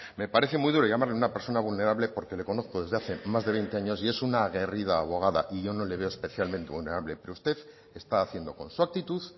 me parece muy duro llamarle a una persona vulnerable porque le conozco desde hace más de veinte años y es una aguerrida abogada y yo no le veo especialmente vulnerable pero usted está haciendo con su actitud